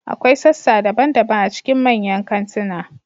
Akwai sassa daban-daban a cikin manyan kantuna.